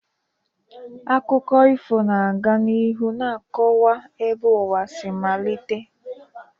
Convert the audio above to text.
Akụkọ ifo ga-aga n'ihu na-akọwa ebe ụwa si malite.